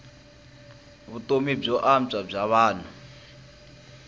vutomi byo antswa bya vanhu